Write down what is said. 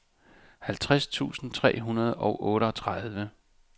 halvtreds tusind tre hundrede og otteogtredive